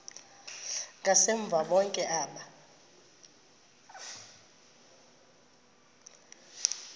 ngasemva bonke aba